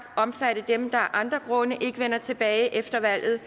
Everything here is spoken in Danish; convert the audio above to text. omfatte dem der af andre grunde ikke vender tilbage efter valget